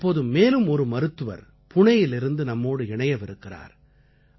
இப்போது மேலும் ஒரு மருத்துவர் புணேயிலிருந்து நம்மோடு இணையவிருக்கிறார்